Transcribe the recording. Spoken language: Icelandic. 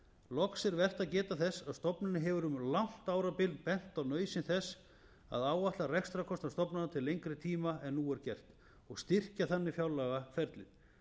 loks er vert að geta þess að stofnunin hefur um langt árabil bent á nauðsyn þess að áætla rekstrarkostnað stofnana til lengri tíma en nú er gert og styrkja þannig fjárlagaferlið